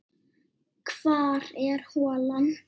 Hvar er holan?